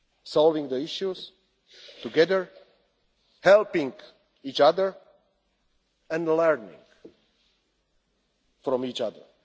solving the issues together, helping each other and learning from each